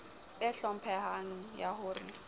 e hlomphehang ya ho re